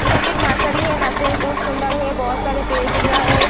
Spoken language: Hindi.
इधर पे एक नर्सरी है नर्सरी बहुत सुन्दर है बहुत सारे पेड़ दिख रहा हैं।